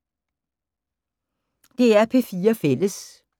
DR P4 Fælles